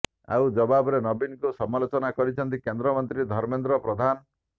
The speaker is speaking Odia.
ଆଉ ଜବାବରେ ନବୀନଙ୍କୁ ସମାଲୋଚନା କରିଛନ୍ତି କେନ୍ଦ୍ର ମନ୍ତ୍ରୀ ଧର୍ମେନ୍ଦ୍ର ପ୍ରଧାନ